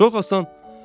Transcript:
Çox asan.